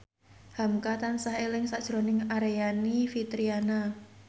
hamka tansah eling sakjroning Aryani Fitriana